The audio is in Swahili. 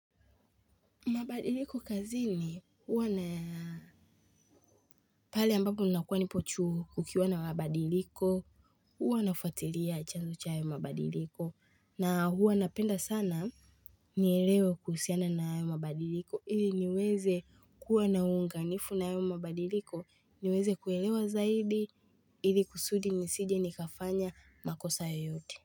Mabadiliko kazini huwa na pale ambapo nakuwa nipo chuo kukiwa na mabadiliko huwa nafatilia chanzo cha hayo mabadiliko na huwa napenda sana nielewe kuhusiana na hayo mabadiliko ili niweze kuwa na unganifu na hayo mabadiliko niweze kuelewa zaidi ili kusudi nisije nikafanya makosa yoyote.